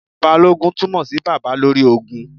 Balógun túmọ̀ sí Baba lórí ogun.